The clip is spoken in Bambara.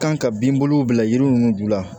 Kan ka bin bolow bila yiri ninnu dugu la